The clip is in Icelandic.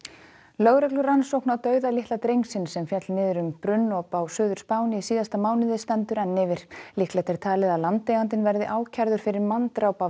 lögreglurannsókn á dauða litla drengsins sem féll niður um brunnop á Suður Spáni í síðasta mánuði stendur enn yfir líklegt er talið að landeigandinn verði ákærður fyrir manndráp af